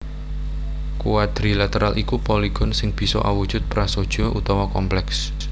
Quadrilateral iku poligon sing bisa awujud prasaja utawa komplèks